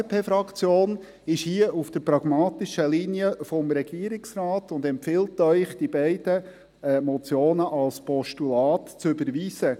Die FDP-Fraktion ist hier auf der pragmatischen Linie des Regierungsrates und empfiehlt Ihnen, die beiden Motionen als Postulate zu überweisen.